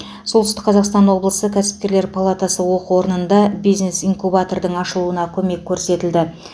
солтүстік қазақстан облысы кәсіпкерлер палатасы оқу орнында бизнес инкубатордың ашылуына көмек көрсетілді